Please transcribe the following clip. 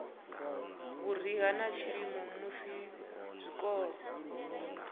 vhuriha na tshilimo musi zwikolo